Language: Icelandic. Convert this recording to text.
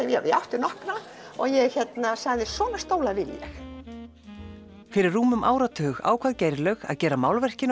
ég átti nokkra og sagði svona stóla vil ég fyrir um áratug ákvað Geirlaug að gera málverkin